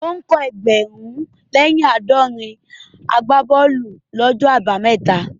Ó ń kọ́ ẹgbẹ̀rún lè ní éjì lé ní àádọ́rin àgbá bọ́ọ̀lù ní gbogbo ọjọ́ abámẹ́ta